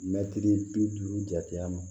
Mɛtiri bi duuru jate ma